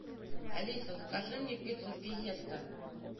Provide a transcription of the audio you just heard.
алиса закажи мне пиццу фиеста